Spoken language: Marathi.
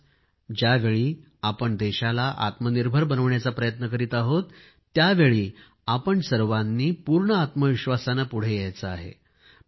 आज ज्यावेळी आपण देशाला आत्मनिर्भर बनविण्याचा प्रयत्न करीत आहोत त्यावेळी आपण सर्वांनी पूर्ण आत्मविश्वासाने पुढे जायचे आहे